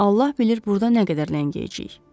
Allah bilir burda nə qədər ləngiyəcəyik.